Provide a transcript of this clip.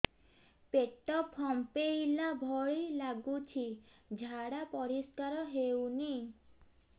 ପେଟ ଫମ୍ପେଇଲା ଭଳି ଲାଗୁଛି ଝାଡା ପରିସ୍କାର ହେଉନି